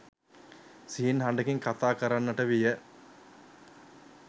සිහින් හඬකින් කථා කරන්නට විය